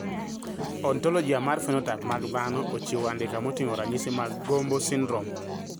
Ontologia mar phenotype mag dhano ochiwo andika moting`o ranyisi mag GOMBO syndrome.